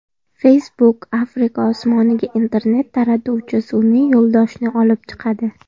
Facebook Afrika osmoniga internet taratuvchi sun’iy yo‘ldoshni olib chiqadi.